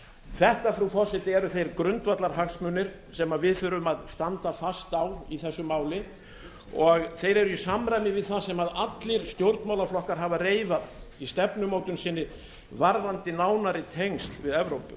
þetta frú forseti eru þeir grundvallarhagsmunir sem við þurfum að standa fast á í þessu máli og þeir eru í samræmi við það sem allir stjórnmálaflokkar hafa reifað í stefnumótun sinni varðandi nánari tengsl við evrópu